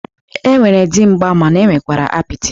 E nwere dimgba mana e nwekwara apịtị.